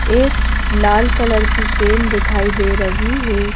एक लाल कलर की केन दिखाई दे रही है।